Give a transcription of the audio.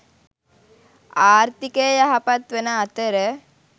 ආර්ථිකය යහපත් වන අතර